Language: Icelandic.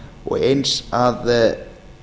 og eins að